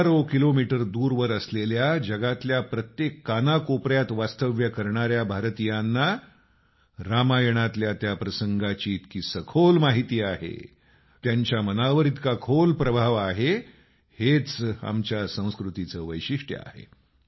हजारो किलोमीटर दूरवर असलेल्या जगातल्या प्रत्येक कानाकोपऱ्यात वास्तव्य करणाऱ्या भारतीयांना रामायणातल्या त्या प्रसंगाची इतकी सखोल माहिती आहे त्यांच्या मनावर इतका खोल प्रभाव आहेहेच आमच्या संस्कृतीचं वैशिष्ट्य आहे